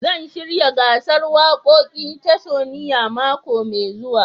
Zan shirya gasar wakokin tasunia mako mai zuwa.